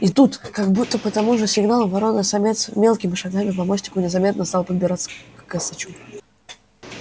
и тут как будто по тому же сигналу ворона-самец мелкими шагами по мостику незаметно стал подбираться к косачу